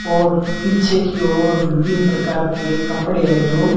और पीछे की ओर विभिन्न प्रकार के कपड़े हैं जो--